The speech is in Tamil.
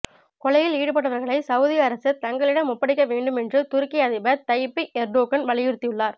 கொலையில் ஈடுபட்டவர்களை சவுதி அரசு தங்களிடம் ஒப்படைக்க வேண்டும் என்று துருக்கி அதிபர் தய்யிப் எர்டோகன் வலியுறுத்தியுள்ளார்